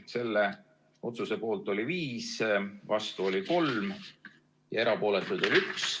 Selle otsuse poolt oli 5, vastu oli 3 ja erapooletuid oli 1.